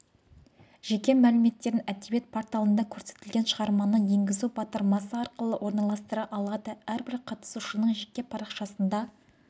жеке мәліметтерін әдебиет порталында көрсетілген шығарманы енгізу батырмасы арқылы орналастыра алады әрбір қатысушының жеке парақшасында